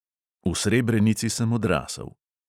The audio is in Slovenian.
V srebrenici sem odrasel.